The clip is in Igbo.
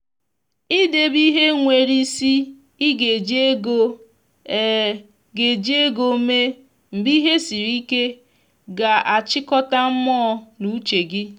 i debe ihe nwere isi i ga eji ego ga eji ego mee mgbe ihe siri ike ga a chịkọta mmụọ na uche gi